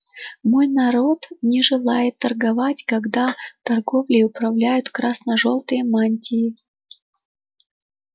мой народ не желает торговать когда торговлей управляют красно-желтые мантии